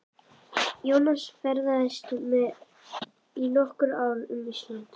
Jónas ferðaðist í nokkur ár um Ísland.